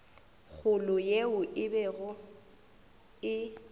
kgolo yeo e bego e